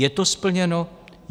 Je to splněno?